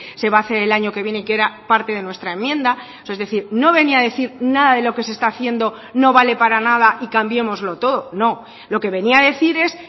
se va a hacer el año que viene que era parte de nuestra enmienda es decir no venía a decir nada de lo que se está haciendo no vale para nada y cambiémoslo todo no lo que venía a decir es